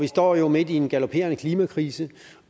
vi står jo midt i en galoperende klimakrise